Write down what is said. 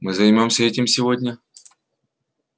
мы займёмся этим сегодня